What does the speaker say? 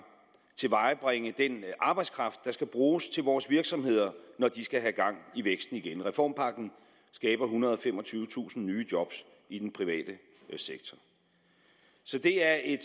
tilvejebringe den arbejdskraft der skal bruges til vores virksomheder når de skal have gang i væksten igen reformpakken skaber ethundrede og femogtyvetusind nye job i den private sektor så det er et